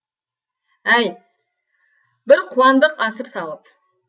әй бір қуандық асыр салып